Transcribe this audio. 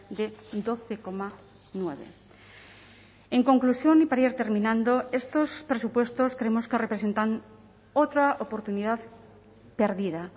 de doce coma nueve en conclusión y para ir terminando estos presupuestos creemos que representan otra oportunidad perdida